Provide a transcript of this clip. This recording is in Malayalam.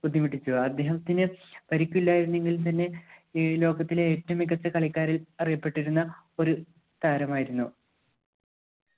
ബുദ്ധിമുട്ടിച്ചു അദ്ദേഹത്തിന് പരിക്കില്ലായിരുന്നെങ്കിൽ തന്നെ ഈ ലോകത്തിലെ ഏറ്റവും മികച്ച കളിക്കാരൻ അറിയപ്പെട്ടിരുന്ന ഒരു താരമായിരുന്നു